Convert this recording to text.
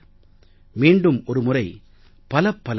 மீண்டும் ஒரு முறை பலப்பல நன்றிகள்